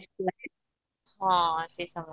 ହଁ ସେ ସମୟ